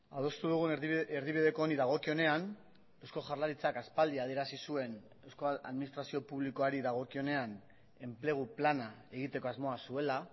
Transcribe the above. adostu dugun erdibideko honi dagokionean eusko jaurlaritzak aspaldi adierazi zuen euskal administrazio publikoari dagokionean enplegu plana egiteko asmoa zuela